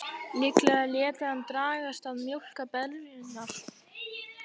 Líklega léti hann dragast að mjólka beljurnar.